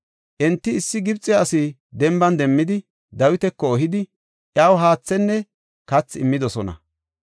Enti issi Gibxe asi denban demmidi, Dawitako ehidi, iyaw haathenne kathi immidosona.